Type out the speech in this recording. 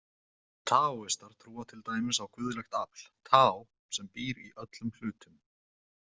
Taóistar trúa til dæmis á guðlegt afl, taó, sem býr í öllum hlutum.